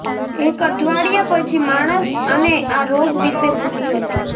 એક અઠવાડિયા પછી માણસ અને આ રોગ વિશે ભૂલી હતી